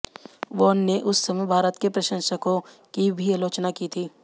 von ने उस समय भारत के प्रशंसकों की भी आलोचना की थी